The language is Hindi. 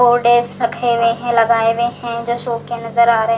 रखे हुए हैं लगाए हुए हैं जो सूखे नजर आ रहे --